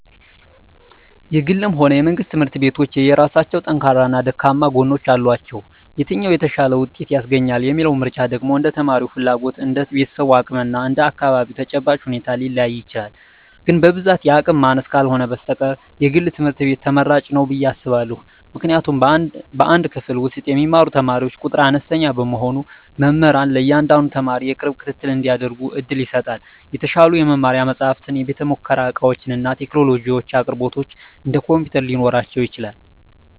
የግልም ሆነ የመንግሥት ትምህርት ቤቶች የየራሳቸው ጠንካራና ደካማ ጎኖች አሏቸው። የትኛው "የተሻለ ውጤት" ያስገኛል የሚለው ምርጫ ደግሞ እንደ ተማሪው ፍላጎት፣ እንደ ቤተሰቡ አቅም እና እንደ አካባቢው ተጨባጭ ሁኔታ ሊለያይ ይችላል። ግን በብዛት የአቅም ማነስ ካልህነ በስተቀር የግል ትምህርት ቤት ትመራጭ ንው ብየ አስባእሁ። ምክንያቱም በአንድ ክፍል ውስጥ የሚማሩ ተማሪዎች ቁጥር አነስተኛ በመሆኑ መምህራን ለእያንዳንዱ ተማሪ የቅርብ ክትትል እንዲያደርጉ ዕድል ይሰጣል። የተሻሉ የመማሪያ መጻሕፍት፣ የቤተ-ሙከራ ዕቃዎችና የቴክኖሎጂ አቅርቦቶች (እንደ ኮምፒውተር) ሊኖራቸው ይችላል።